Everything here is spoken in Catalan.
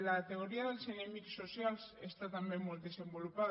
la teoria dels enemics socials està també molt desenvolupada